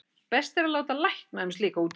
best er að láta lækna um slíka útreikninga